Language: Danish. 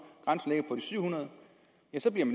så bliver